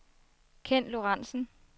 Kenn Lorenzen